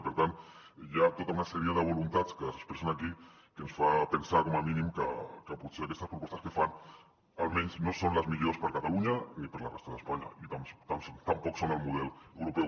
i per tant hi ha tota una sèrie de voluntats que s’expressen aquí que ens fan pensar com a mínim que potser aquestes propostes que fan almenys no són les millors per a catalunya ni per a la resta d’espanya i tampoc són el model europeu